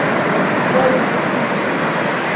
это вяло текущая